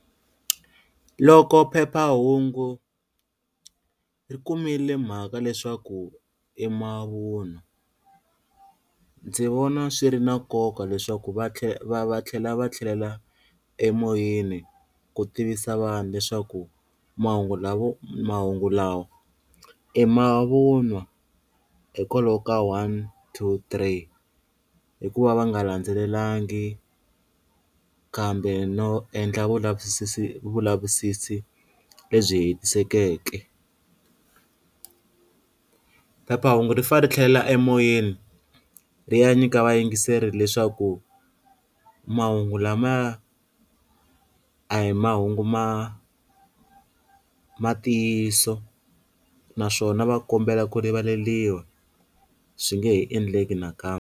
Loko phephahungu ri kumile mhaka leswaku i mavunwa ndzi vona swi ri na nkoka leswaku va va tlhela va tlhelela emoyeni ku tivisa vanhu leswaku mahungu lavo mahungu lawa i mavun'wa hi kwalaho ka one two three, hikuva va nga landzelelangi kambe no endla vulavisisi vulavisisi lebyi hetisekeke, phephahungu ri fa ri tlhelela emoyeni ri ya nyika vayingiseri leswaku mahungu lamaya a hi mahungu ma ma ntiyiso naswona va kombela ku rivaleliwa swi nge he endleki nakambe.